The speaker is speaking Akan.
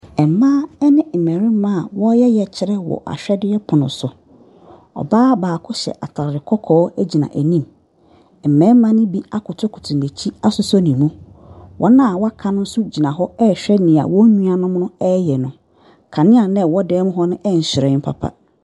Mmaa ne mmarima a wɔreyɛ yɛkyerɛ wɔ ahwɛdeɛ pono so, ɔbaa baako hyɛ ataare kɔkɔɔ gyina anim, mmarima ne bi akotokoto n’akyi asosɔ ne mu. Wɔn a wɔaka no nso gyina hɔ ɛrehwɛ deɛ wɔn nuanom ɛreyɛ no. Kanea no a ɛwɔ dan mu hɔ no nhyerɛn papa.